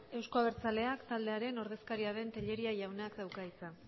euzko abertzaleak taldearen ordezkaria den tellería jaunak dauka hitza